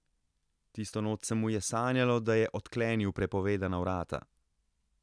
Tisto noč se mu je sanjalo, da je odklenil prepovedana vrata.